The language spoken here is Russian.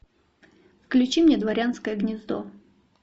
включи мне дворянское гнездо